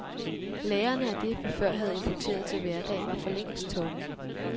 Lagrene af det, vi før havde importeret til hverdag, var forlængst tomme.